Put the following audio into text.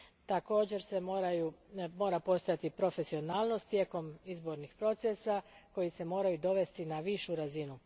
Također mora postojati profesionalnost tijekom izbornih procesa koji se moraju dovesti na višu razinu.